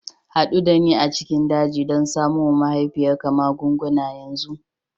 Haɗu da ni a cikin daji don samo wa mahaifiyarka magunguna yanzu!